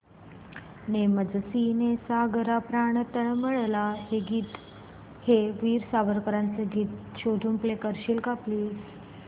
ने मजसी ने सागरा प्राण तळमळला हे वीर सावरकरांचे गीत शोधून प्ले करशील का प्लीज